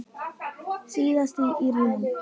Síðast í Íran.